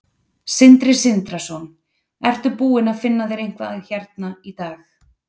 Sindri Sindrason: Ertu búinn að finna þér eitthvað hérna í dag?